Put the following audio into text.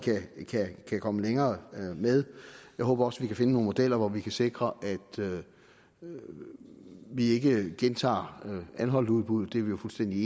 kan komme længere med jeg håber også vi kan finde nogle modeller hvor vi kan sikre at vi ikke gentager anholtudbuddet det er vi jo fuldstændig